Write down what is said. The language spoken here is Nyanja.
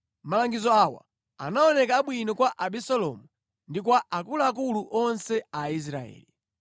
Malangizo awa anaoneka abwino kwa Abisalomu ndi kwa akuluakulu onse a Israeli.